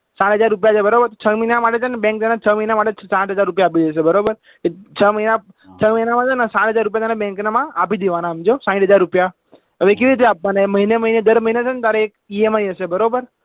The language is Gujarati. સાત હજાર રૂપિયા છે બરાબર છ મહિના માટે તને bank તને છ મહિના માટે સાત હજાર રૂપિયા આપી દેશે બરોબર છ મહિના છ મહિના માં છે ને સાત હજાર રૂપિયા તારે bank ના માં આપી દેવાના સમજ્યો શાંયઠ હજાર રૂપિયા હવે કેવી રીતે આપવાના મહિને મહિને દર મહિને તારે એક EMI હશે બરોબર